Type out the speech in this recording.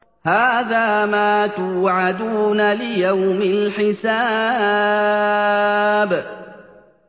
هَٰذَا مَا تُوعَدُونَ لِيَوْمِ الْحِسَابِ